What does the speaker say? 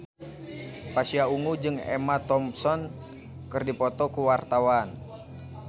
Pasha Ungu jeung Emma Thompson keur dipoto ku wartawan